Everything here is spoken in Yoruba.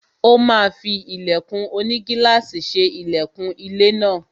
Ó máa fí ilẹ̀kùn onigílàsì ṣe ilẹkùn ilé náà.